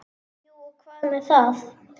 Jú og hvað með það!